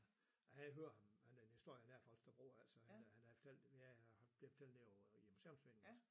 Jeg havde hørt om han havde historien dér fra Holstebro altså han havde han havde fortalt jeg blev fortalt den ved museums også